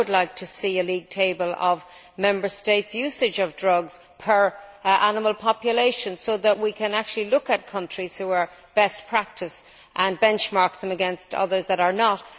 I would like to see a league table of Member States' usage of drugs per head of animal population, so that we can actually look at countries which adopt best practice and benchmark them against others that are not.